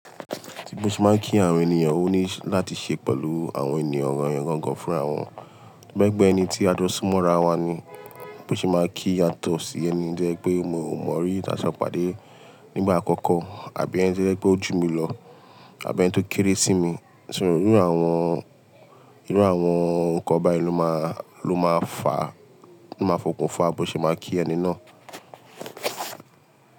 Bí mo ṣe máa ń kí àwọn ènìyàn, ó ní láti ṣe pẹ̀lú àwọn ènìyàn yen gangan fúnra àwọn. Toba jepẹ́ ẹni tí a jọ́ súnmọ́ ara wa ni, bí mo ṣe máa kí yatọ́ sí ẹni jẹ́ pé mo mọ̀ ọ́n rí ní tàṣe pàdé nígbà àkọ́kọ́ àbí ẹni jẹ́ pé ó jù mí lọ àbí ẹni tó kéré sí mi. So irú àwọn, irú àwọn nǹkan báyìí ló máa, ló máa fà, ló máa fọkùn fà bọ̀ ṣe máa kí ẹni náà?